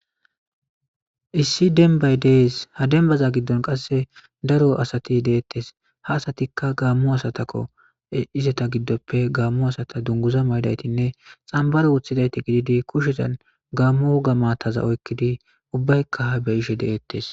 Issi dembay de'es ha dembaza gidon daro asay de'es ha asatika Gamo asatako izetas gidope dunguza mayidaytine xambaro oykidayti kushezan Gamo woga mata oykidi ubbayka ha betishe detes